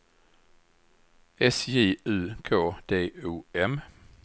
S J U K D O M